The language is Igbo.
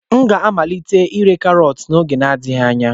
M ga-amalite ire karọt n'oge adịghị anya.